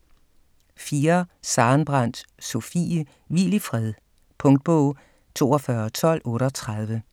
4. Sarenbrant, Sofie: Hvil i fred Punktbog 421238